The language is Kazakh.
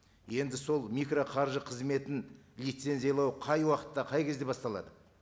енді сол микроқаржы қызметін лицензиялау қай уақытта қай кезде басталады